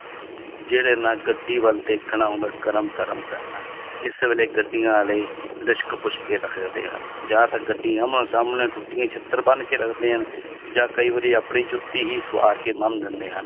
ਜਿਹੜੇ ਨਾਲ ਗੱਡੀ ਵੱਲ ਦੇਖਣ ਆਉਂਦਾ ਕਰਮ ਧਰਮ ਕਰਨਾ ਹੈ, ਇਸ ਵੇਲੇ ਗੱਡੀਆਂ ਵਾਲੇ ਲਿਸ਼ਕ ਪੁਸ਼ਕ ਕੇ ਰੱਖਦੇ ਹਨ ਜਾਂ ਫਿਰ ਗੱਡੀ ਆਹਮੋ ਸਾਹਮਣੇ ਟੁੱਟੀ ਹੋਈ ਛਿੱਤਰ ਬੰਨ ਕੇ ਰੱਖਦੇ ਹਨ ਜਾਂ ਕਈ ਵਾਰੀ ਆਪਣੀ ਜੁੱਤੀ ਹੀ ਸਵਾਰ ਕੇ ਬੰਨ ਦਿੰਦੇ ਹਨ